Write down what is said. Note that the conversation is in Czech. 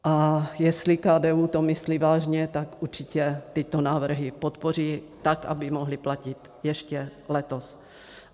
A jestli KDU to myslí vážně, tak určitě tyto návrhy podpoří tak, aby mohly platit ještě letos.